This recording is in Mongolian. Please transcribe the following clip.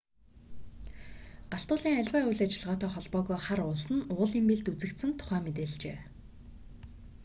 галт уулын аливаа үйл ажиллагаатай холбоогүй хар уулс нь уулын бэлд үзэгдсэн тухай мэдээлжээ